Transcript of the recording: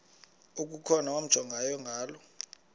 okukhona wamjongay ngaloo